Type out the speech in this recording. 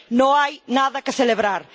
no hay nada que celebrar.